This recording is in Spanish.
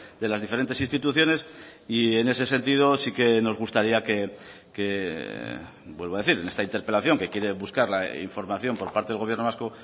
de las diferentes instituciones y en ese sentido sí que nos gustaría que vuelvo a decir en esta interpelación que quiere buscar la información por parte del gobierno vasco